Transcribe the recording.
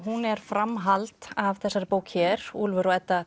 hún er framhald af þessari bók hér Úlfur og Edda